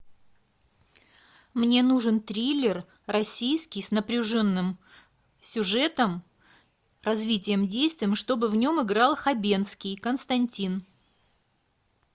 мне нужен триллер российский с напряженным сюжетом развитием действия чтобы в нем играл хабенский константин